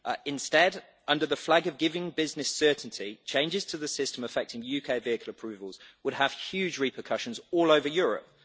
Instead, under the flag of providing business certainty, changes to the system affecting UK vehicle approvals would have huge repercussions all over Europe.